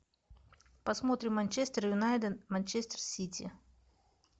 посмотрим манчестер юнайтед манчестер сити